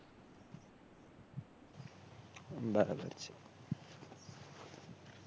બરાબર છે